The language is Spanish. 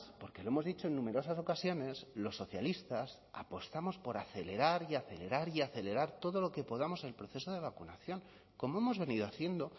porque lo hemos dicho en numerosas ocasiones los socialistas apostamos por acelerar y acelerar y acelerar todo lo que podamos el proceso de vacunación como hemos venido haciendo